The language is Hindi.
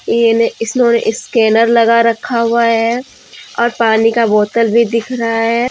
इन्होंने स्कैनर लगा रखा हुआ है और पानी का बोतल भी दिख रहा है।